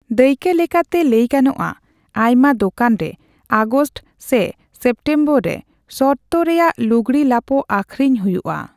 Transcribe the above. ᱫᱟᱹᱭᱠᱟᱹ ᱞᱮᱠᱟᱛᱮ ᱞᱟᱹᱭᱜᱟᱱᱚᱜᱼᱟ, ᱟᱭᱢᱟ ᱫᱳᱠᱟᱱ ᱨᱮ ᱟᱜᱚᱥᱴ ᱥᱮ ᱥᱮᱯᱴᱮᱢᱵᱚᱨᱮ ᱥᱚᱨᱛᱚ ᱨᱮᱭᱟᱜ ᱞᱩᱜᱲᱤᱼᱞᱟᱯᱚ ᱟᱹᱠᱷᱨᱤᱧ ᱦᱩᱭᱩᱜᱼᱟ ᱾